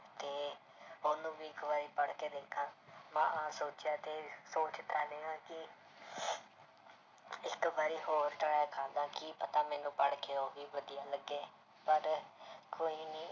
ਤੇ ਉਹਨੂੰ ਵੀ ਇੱਕ ਵਾਰੀ ਪੜ੍ਹਕੇ ਦੇਖਾਂ ਮੈਂ ਸੋਚਿਆ ਤੇ ਸੋਚ ਕਿ ਇੱਕ ਵਾਰ ਹੋਰ try ਕਰਦਾ, ਕੀ ਪਤਾ ਮੈਨੂੰ ਪੜ੍ਹ ਕੇ ਉਹ ਵੀ ਵਧੀਆ ਲੱਗੇ ਪਰ ਕੋਈ ਨੀ